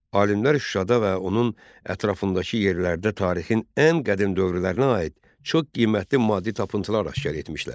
Alimlər Şuşada və onun ətrafındakı yerlərdə tarixin ən qədim dövrlərinə aid çox qiymətli maddi tapıntılar aşkar etmişdilər.